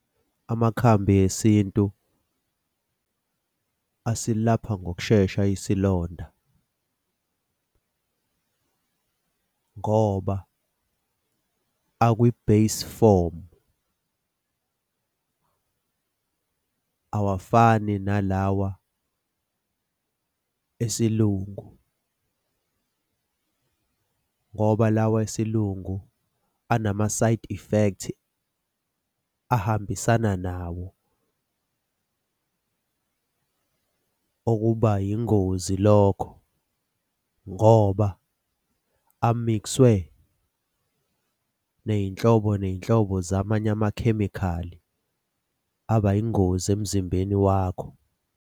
Amakhambi esintu asilapha ngokushesha isilonda, ngoba akwi-base form. Awafani nalawa esilungu ngoba lawa esilungu anama-side effects ahambisana nawo okuba yingozi lokho ngoba amikswe ney'nhlobo, ney'nhlobo zamanye amakhemikhali abayingozi emzimbeni wakho.